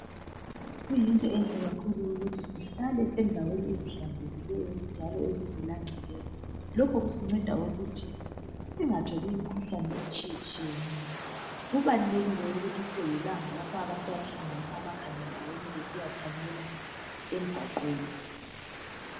Kuyinto enhle kakhulu ukuthi sihlale endaweni ezihlanzekileyo njalo ezingela ngcekeza, lokhu kusinceda ukuthi singatholi imikhuhlane etshiye tshiyeneyo, kubalulekile ukuthi kube lelanga lapha abantu abahlanganisa amakhanda ndawonye besiya thanyela emgwaqweni.